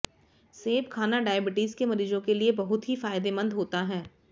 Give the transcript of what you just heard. सेब खाना डायबिटीज के मरीजों के लिए बहुत ही फायदेमंद होता है